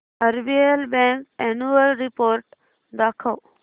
RBL bank annual report दाखव